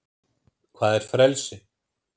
hvað er frelsi